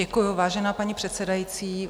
Děkuji, vážená paní předsedající.